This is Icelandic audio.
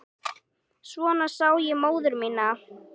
Svona sá ég móður mína.